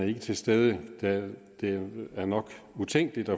ikke til stede det er nok utænkeligt